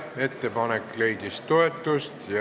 Ettepanek leidis toetust.